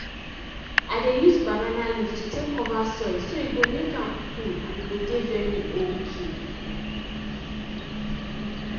i dey use banana leaf to take cover soil so e go maek am cool and e go dey very okay